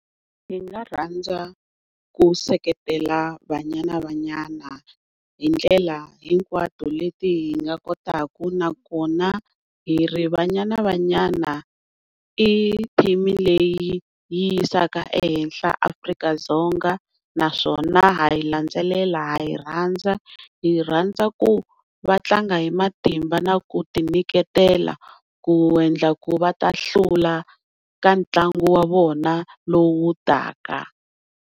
Hi nga rhandza ku seketela Banyana Banyana hi ndlela hinkwato leti hi nga kotaka nakona hi ri Banyana Banyana i team-i leyi yi yisaka ehenhla Afrika-Dzonga naswona ha yi landzelela ha yi rhandza, hi yi rhandza ku va tlanga hi matimba na ku ti nyiketela ku endla ku va ta hlula ka ntlangu wa vona lowu taka.